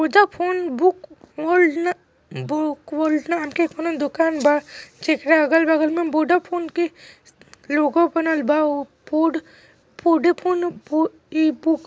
Voda phone book book world ना world नाम के कोनो दोकान बा जकरा बगल में अगल-बगल में वोडा फोन के लोगो बनल बा --